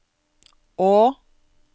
å